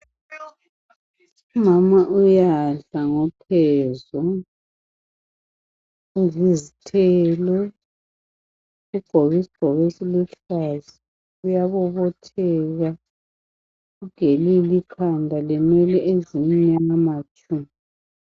Umama uyadla ngokhezo. Udla izithelo. Ugqoke isigqoko esiluhlaza uyabobotheka. Ugelile ikhanda inwele zimnyama tshu.